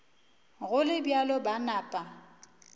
go le bjalo ba napa